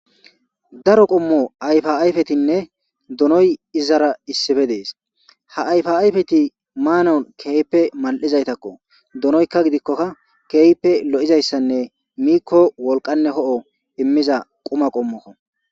Daro qommo ayfa ayfetinne donoy izara issife dees ha ayfa ayfeti maanon keeype mal7izaytakko donoyka gidikkoka keeype lo7izayssanne miikko wolqanne ho7o immiza quma qommokko